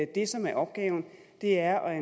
det som er opgaven er at